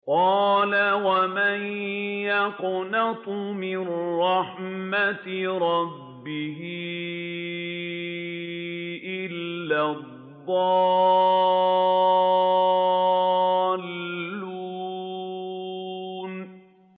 قَالَ وَمَن يَقْنَطُ مِن رَّحْمَةِ رَبِّهِ إِلَّا الضَّالُّونَ